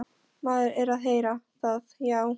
Maður er að heyra það, já.